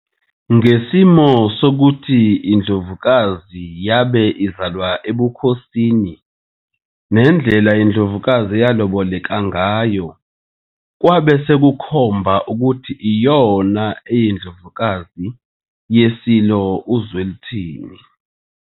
Ngesimo sokuthi iNdlovukazi yabe izalwa ebukhosininendlela iNdlovukazi eyaloboleka ngayo kwabe sekukhomba ukuthi iyona eyiNdlovukazi yeSilo uZwelithini.